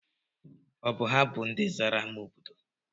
Ọ bụ ha bụ ndị zara ámá obodo?